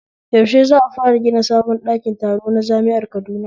Yaushe za'a fara gina sabon ɗakin taro na jami'ar Kaduna?